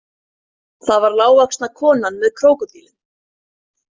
Það var lágvaxna konan með krókódílinn.